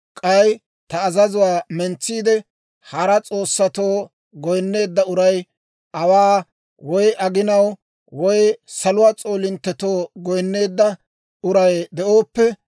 k'ay ta azazuwaa mentsiide, hara s'oossatoo goyinneedda uray, awaaw, woy aginaw, woy saluwaa s'oolinttetoo goyinneedda uray de'ooppe,